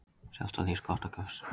Sjaldan hlýst gott af gestum.